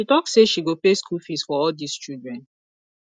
she talk say she go pay school fees for all dis children